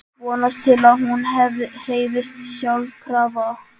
Vonast til að hún hreyfist sjálfkrafa.